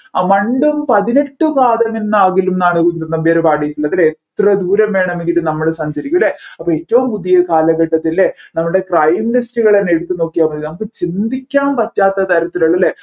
പണ്ടും പതിനെട്ട് പാദമെന്നാകിലും എന്നാണ് കുഞ്ചൻനമ്പ്യാർ പാടിയിട്ടുള്ളത് ഇതിന് എത്ര ദൂരം വേണമെങ്കിലും നമ്മൾ സഞ്ചരിക്കും അല്ലെ അപ്പോ ഏറ്റവും പുതിയ കാലഘട്ടത്തിൽ അല്ലെ നമ്മൾടെ crime list കൾ തന്നെ എടുത്തുനോക്കിയ മതി നമ്മുക്ക് ചിന്തിക്കാൻ പറ്റാത്തതരത്തിലുള്ള